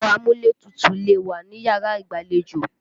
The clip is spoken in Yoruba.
Ẹ̀rọ amúlétutù lè wà níyàrá ìgbàlejò.